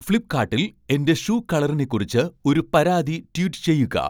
ഫ്ലിപ്പ്കാട്ടിൽ എന്റെ ഷൂ കളറിനെ കുറിച്ച് ഒരു പരാതി ട്വീറ്റ് ചെയ്യുക